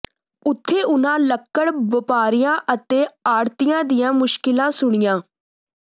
ਉਥੇ ਉਹਨਾਂ ਲੱਕੜ ਵਪਾਰੀਆਂ ਅਤੇ ਆੜਤੀਆਂ ਦੀਆਂ ਮੁਸ਼ਕਿਲਾਂ ਸੁਣੀਆਂ